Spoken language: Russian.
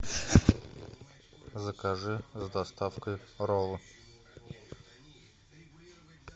закажи с доставкой роллы